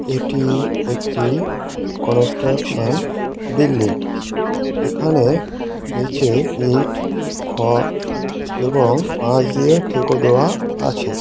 এটি একটি construction building এখানে নিচে ইট খ এবং পাঁচ দিয়ে ঠেকা দেওয়া আছে।